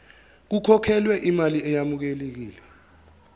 kukhokhelwe imali eyamukelekile